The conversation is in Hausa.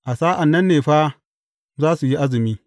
A sa’an nan ne fa za su yi azumi.